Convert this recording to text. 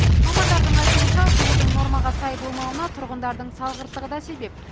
мамандардың айтуынша жылудың нормаға сай болмауына тұрғындардың салғырттығы да себеп